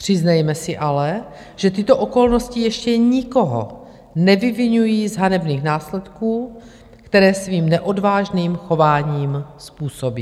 Přiznejme si ale, že tyto okolnosti ještě nikoho nevyviňují z hanebných následků, které svým neodvážným chováním způsobí.